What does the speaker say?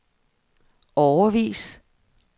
årevis